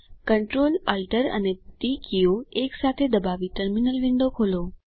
Ctrl Alt અને T કીઓ એક સાથે દબાવી ટર્મિનલ વિન્ડો ખોલો